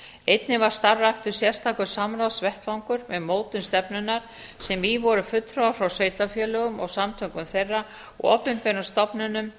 einnig var starfræktur sérstakur samráðsvettvangur um mótun stefnunnar sem í voru fulltrúar frá sveitarfélögum og samtökum þeirra opinberum stofnunum